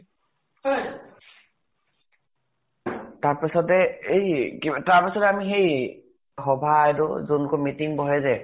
তাৰ পিছতে এই কিবা এটা, তাৰ পিছতে আমি সেই সভা এইটো, যোনটোত meeting বহে যে